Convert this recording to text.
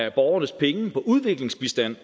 af borgernes penge på udviklingsbistand